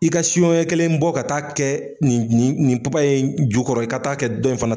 I ka son ɲɛ kelen bɔ ka taa'a kɛ nin nin nin papaye ju kɔrɔ i ka taa'a kɛ dɔn i fana